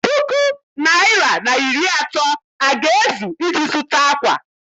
Puku naịra na iri atọ aga-ezu iji zụta ákwà?